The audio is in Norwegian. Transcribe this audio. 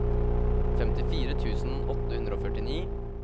femtifire tusen åtte hundre og førtini